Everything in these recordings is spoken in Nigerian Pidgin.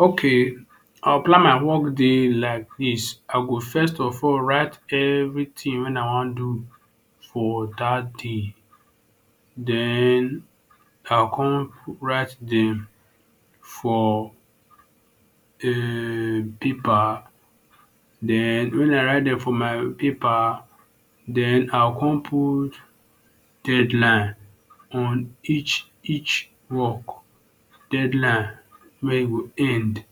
Okay I go plan my work day like dis I go first of all write everything wey I wan do for that day den I go con write for um paper den wen I write dem for my paper den I go con put deadline on each each work deadline wey e go end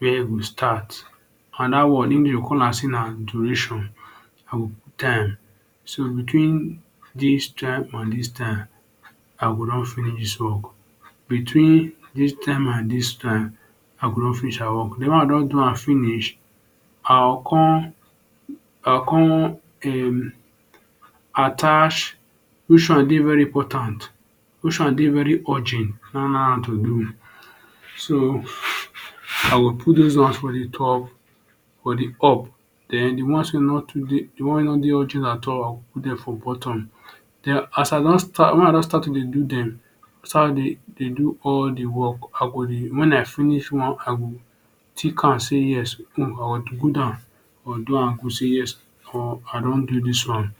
e go start and dat one dey call am say na duration I go put time so between dis time and dis time I go don finish work den wen I don do am finish I go con attach which one dey very important which one day urgent am to do so I go put dose ones for d top for d up den d ones wey no too dey urgent like dat I go put am for bottom wen I don start to dey do dem start to dey do all d work I go dey wen I finish one I go tick am say yes I go good am say yes I don do dis wan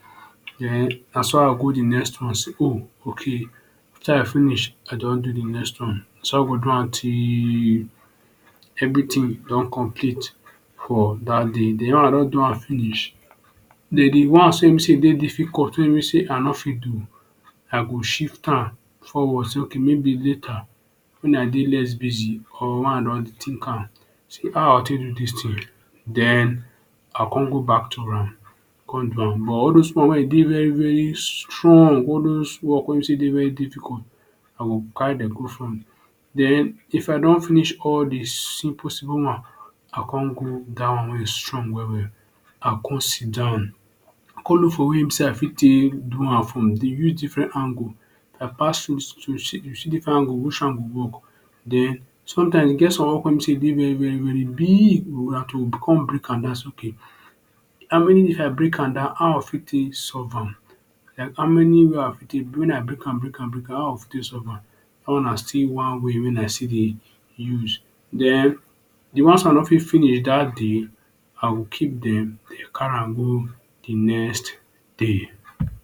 den naso I go go d next one say ohh ok if I finish I don do de next one naso I go do am till everything don complete for dat day den wen I don do am finish den d ones wey be say dem dey difficult wey I no fit do I go shift am forward say okay maybe later wen I dey less busy or wen I don think am say how I go take do this thing den I go con go back to am con do am den all does ones wey e dey very very strong all does work wey dey difficult I go carry dem come front den if I don finish all d simple simple one I go con go down wey e strong well well I go con sitdown con look for way wey be say I fit take do am use different angle to see which go work den sometimes e get some wey con be say e dey very very big den I go con break am down I go con say okay if I break am down how I go fit take solve am like how many wen I break am break am how I go fit take solve am dat one na still one way wey I still dey use den d ones wey I no fit finish dat day I go keep dem carry am go d next day.